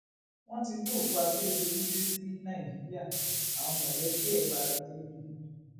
wọn ti gbé òkú akérèdọlù dé sí nàìjíríà àwọn mọlẹbí ẹ bara jẹ gidigidi